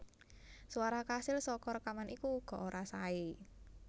Swara kasil saka rékaman iku uga ora saé